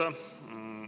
Aitäh!